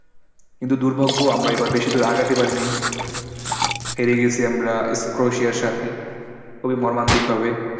কিন্তু দুর্ভাগ্য আমরা এবার বেশি দূর আগাতে পারি নাই। হেরে গেছি আমরা স্ক্রোশিয়া এর সাথে খুবই মর্মান্তিক ভাবে।